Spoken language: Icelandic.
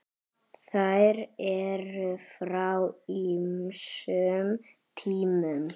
Þær eru frá ýmsum tímum.